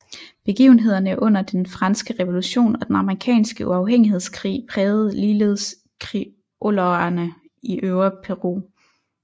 Begivenhederne under Den franske revolution og Den amerikanske uafhængighedskrig prægede ligeledes criolloerne i Øvre Peru